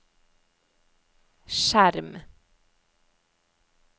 skjerm